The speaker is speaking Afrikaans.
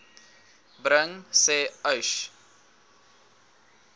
bring sê uys